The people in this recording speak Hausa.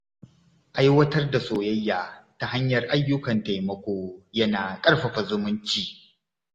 Aiwatar da soyayya ta hanyar ayyukan taimako yana ƙarfafa zumunci.